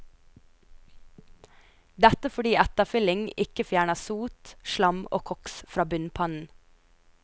Dette fordi etterfylling ikke fjerner sot, slam og koks fra bunnpannen.